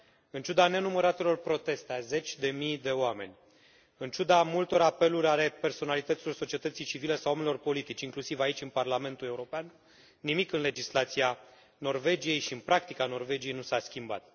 În ciuda nenumăratelor proteste a zeci de mii de oameni, în ciuda multor apeluri ale personalităților societății civile sau ale oamenilor politici, inclusiv aici în Parlamentul European, nimic în legislația Norvegiei și în practica Norvegiei nu s a schimbat.